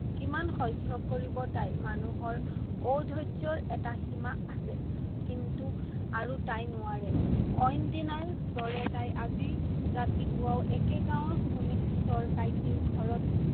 কিমান সহ্য় কৰিব তাই। মানুহৰ অধৰ্যৈৰ এটা সীমা আছে। কিন্তু আৰু তাই নোৱাৰে। অইন দিনাৰ দৰে তাই আজি ৰাতিপুৱাও একে গাঁৱৰ সোণেশ্বৰ কাইটিৰ ঘৰত